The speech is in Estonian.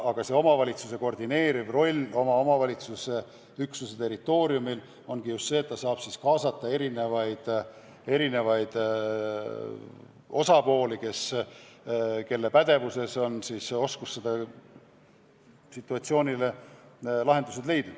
Aga omavalitsuse koordineeriv roll oma territooriumil tugineb just sellele, et ta saab kaasata erinevaid osapooli, kes oskavad situatsioonile lahendused leida.